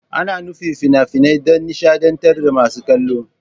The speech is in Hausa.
Ana nufin fina-finai don nishadantar da masu kallo.